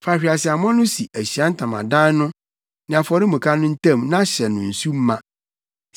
Fa hweaseammɔ no si Ahyiae Ntamadan no ne afɔremuka no ntam na hyɛ no nsu ma.